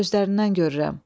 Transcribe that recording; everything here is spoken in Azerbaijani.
Gözlərindən görürəm.